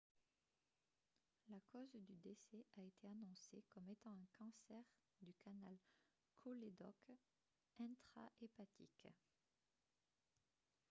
la cause du décès a été annoncée comme étant un cancer du canal cholédoque intrahépatique